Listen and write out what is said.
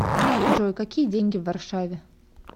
джой какие деньги в варшаве